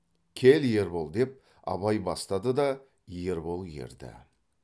кел ербол деп абай бастады да ербол ерді